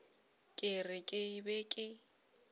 ke re ke be ke